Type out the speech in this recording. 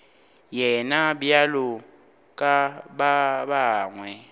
yena bjalo ka ba bangwe